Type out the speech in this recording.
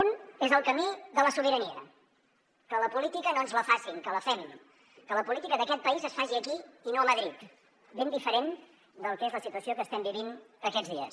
un és el camí de la sobirania que la política no ens la facin que la fem que la política d’aquest país es faci aquí i no a madrid ben diferent del que és la situació que estem vivint aquests dies